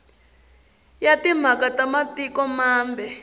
ya timhaka ta matiko mambe